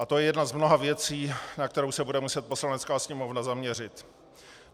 A to je jedna z mnoha věcí, na kterou se bude muset Poslanecká sněmovna zaměřit.